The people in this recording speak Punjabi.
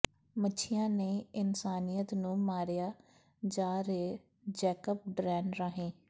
ਮੱਛੀਆਂ ਨਹੀਂ ਇਨਸਾਨੀਅਤ ਨੂੰ ਮਾਰਿਆ ਜਾ ਰਿਹੈ ਜੈਕਪ ਡਰੇਨ ਰਾਹੀਂ